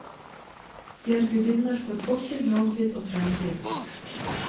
De er gudinner for fortid, nåtid og fremtid.